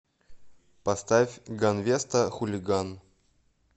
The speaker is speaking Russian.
поставь ганвеста хулиган